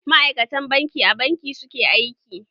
Maaikatan banki a banki suke aiki